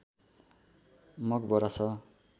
मकबरा छ